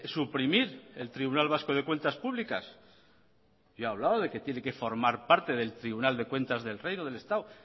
suprimir el tribunal vasco de cuentas públicas yo he hablado de que tiene que formar parte del tribunal de cuentas del reino del estado